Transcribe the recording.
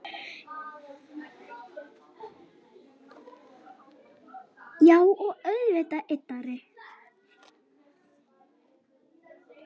Já og auðvitað yddari